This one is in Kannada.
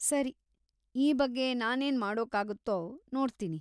ಸರಿ, ಈ ಬಗ್ಗೆ ನಾನೇನ್‌ ಮಾಡೋಕ್ಕಾಗುತ್ತೋ ನೋಡ್ತೀನಿ.